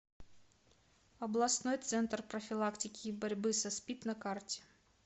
областной центр профилактики и борьбы со спид на карте